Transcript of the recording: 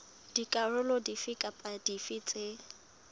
dikarolo dife kapa dife tse